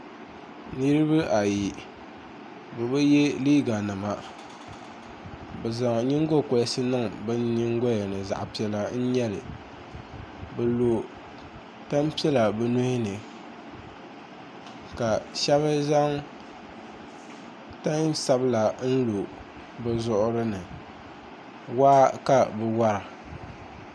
Niriba ayi bɛ bi ye liiganima bɛ zaŋ nyiŋgɔkolisi niŋ bɛ nyiŋgɔya zaɣ' piɛla n-nyɛ li bɛ lo tampiɛla bɛ nuhi ni ka shɛba zaŋ tansabila lo bɛ zuɣuri ni waa ka bɛ wara